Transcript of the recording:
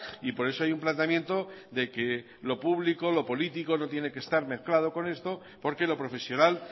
y por eso hay un planteamiento de que lo público lo político no tiene que estar mezclado con esto porque lo profesional